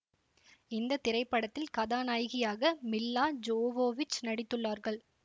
இந்த திரைப்படத்தில் கதாநாயகியாக மில்லா ஜோவோவிச் நடித்துள்ளார்கள்